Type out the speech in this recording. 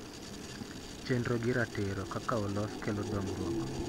Chenro gi ratiro kaka olos kelo dongruok.